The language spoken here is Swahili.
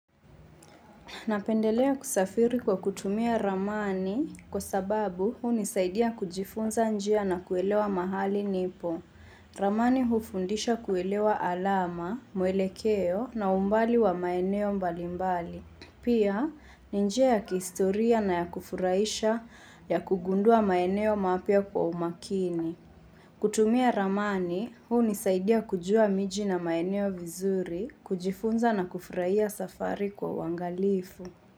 Napendelea kusafiri kwa kutumia ramani kwa sababu hunisaidia kujifunza njia na kuelewa mahali nipo. Ramani hufundisha kuelewa alama, muelekeo na umbali wa maeneo mbalimbali. Pia, ni njia ya kihistoria na ya kufurahisha ya kugundua maeneo mapya kwa umakini. Kutumia ramani hunisaidia kujua miji na maeneo vizuri, kujifunza na kufurahia safari kwa uangalifu.